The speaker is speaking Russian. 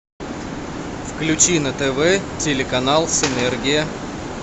включи на тв телеканал синергия